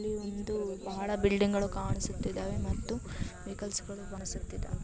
ಇಲ್ಲಿ ಒಂದು ಬಹಳ ಬಿಲ್ಡಿಂಗ್ ಗಳು ಕಾಣಿಸುತ್ತಾ ಇದವೆ ಮತ್ತು ಬಹಳ ವೆಹಿಕಲ್ಸ್ ಗಳು ಕಾಣಿಸುತ್ತಿವೆ.